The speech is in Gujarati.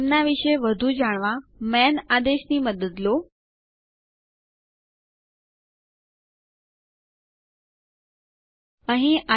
જેઓ ઓનલાઇન ટેસ્ટ પાસ કરે છે તેમને પ્રમાણપત્રો પણ આપીએ છીએ